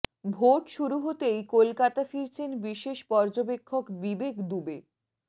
vote শুরু হতেই কলকাতা ফিরছেন বিশেষ পর্যবেক্ষক বিবেক দুবে